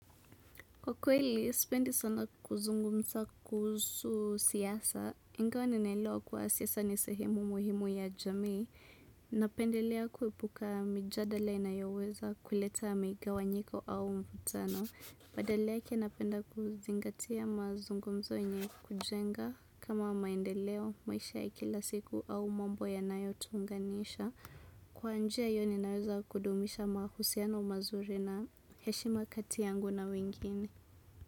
Kwa kweli, sipendi sana kuzungumza kuhusu siasa, ingawa ninaelewa kuwa siasa ni sehemu muhimu ya jamii. Napendelea kuepuka mijadala inayoweza kuleta migawanyiko au mvutano. Badala yake napenda kuzingatia mazungumzo yenye kujenga kama maendeleo maisha ya kila siku au mambo yanayotuunganisha. Kwa njia hiyo ninaweza kudumisha mahusiano mazuri na heshima kati yangu na wengine.